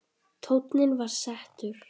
Tónninn var settur.